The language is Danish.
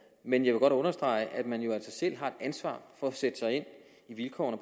men jeg vil godt understrege at man jo altså selv har et ansvar for at sætte sig ind i vilkårene